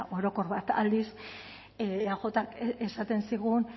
orokor bat aldiz eajk esaten zigun